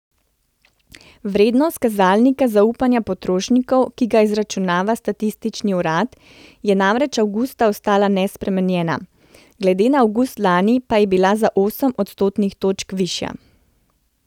Vrednost kazalnika zaupanja potrošnikov, ki ga izračunava statistični urad, je namreč avgusta ostala nespremenjena, glede na avgust lani pa je bila za osem odstotnih točk višja.